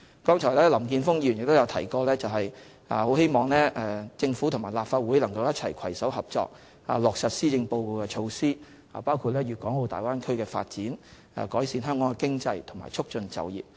剛才林健鋒議員提到希望政府和立法會能夠攜手合作，落實施政報告的措施，包括粵港澳大灣區的發展，改善香港的經濟和促進就業。